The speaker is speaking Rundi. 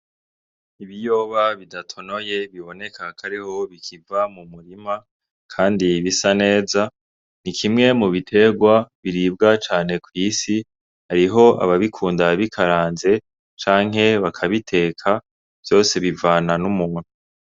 Ibiyoba bidatonoye biboneka ko ariho bikiva mu murima bisa neza ni kimwe mu biterwa biribwa cane ku isi hariho ababikunda bikaranze canke bakabiteka vyose bivana n'umuntu.